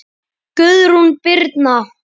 Guðrún Birna.